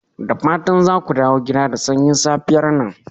Da fatan za ku dawo gida da sanyin safiyar nan?